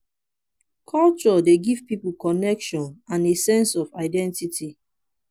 culture dey give pipo connection and a sense of identity